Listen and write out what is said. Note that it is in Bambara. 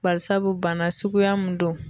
Bari sabu bana suguya mun don